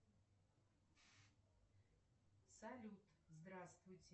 афина сделай поменьше яркость на лоджии